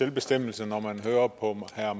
selvbestemmelse når man hører på herre